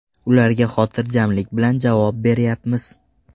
Ularga xotirjamlik bilan javob beryapmiz.